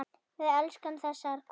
Við elskum þessar konur.